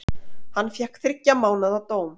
Hann fékk þriggja mánaða dóm.